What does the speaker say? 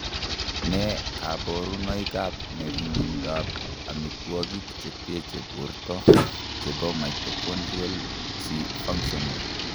Nee kabarunoikab ng'ering'indoab amitwogik che teche borto chebo Mitochondrial tri functional?